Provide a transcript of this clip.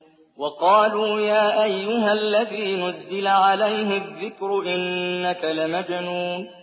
وَقَالُوا يَا أَيُّهَا الَّذِي نُزِّلَ عَلَيْهِ الذِّكْرُ إِنَّكَ لَمَجْنُونٌ